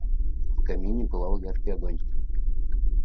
в камине пылал яркий огонь